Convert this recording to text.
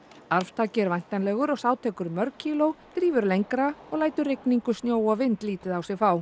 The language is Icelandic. arftaki er væntanlegur og sá tekur mörg kíló drífur lengra og lætur rigningu snjó og vind lítið á sig fá